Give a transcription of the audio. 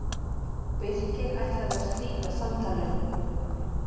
Birkir ætlaði að slíta samtalinu.